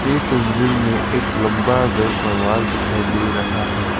ए तस्वीर में एक लंबा घर का वॉल दिखाई दे रहा है।